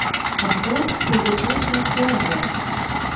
обзор пылесоса керби